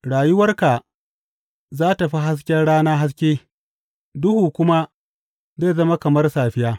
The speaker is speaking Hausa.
Rayuwarka za tă fi hasken rana haske, duhu kuma zai zama kamar safiya.